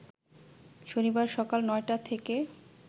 শনিবার সকাল ৯টা থেকে